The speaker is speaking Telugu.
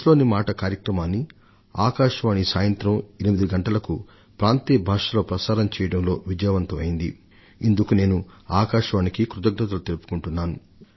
ఈ మన్ కీ బాత్ మనసు లోని మాట కార్యక్రమాన్ని ఆకాశవాణి ప్రాంతీయ భాషల్లో రాత్రి 8 గంటలకు విజయవంతంగా ప్రసారం చేస్తున్నందుకు ఆకాశవాణి వారికి నేను కృతజ్ఞతలు తెలియజేస్తున్నాను